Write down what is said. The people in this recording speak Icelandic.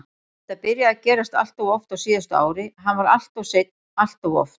Þetta byrjaði að gerast alltof oft á síðasta ári, hann var alltof seinn alltof oft.